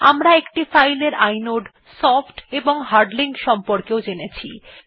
আমরা একটি ফাইল এর ইনোড সফ্ট এবং হার্ড লিঙ্ক সম্পর্কেও জেনেছি